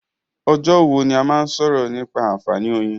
Ọjọ́ wo ni a máa sọ̀rọ̀ nípa àǹfààní oyin?